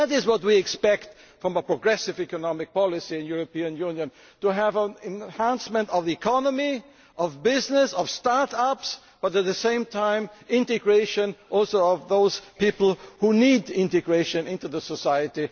That is what we expect from a progressive economic policy in the European Union to have an enhancement of the economy, of business, of start ups, but at the same time, integration of those people who need to be integrated into society.